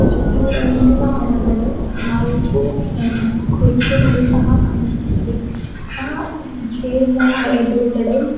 ದೂರಂಟಿನ ಹೊರಗಡೆ ನಾಲ್ಕು ಕುರ್ಚಿಗಳು ಸಹಾ ಕಾಣಿಸುತ್ತದೆ ಆ ಕು ಚೇರ್ ಇನ ಎದುರುಗಡೆ --